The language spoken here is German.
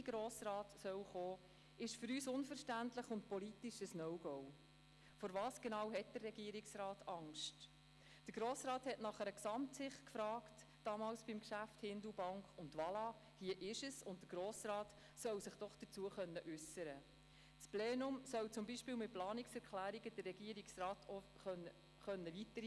Ist das Zusammengehen aller Beteiligten gesichert und die Verantwortung auf mehrere Schultern verteilt, schützt dies auch die zuständige Exekutive.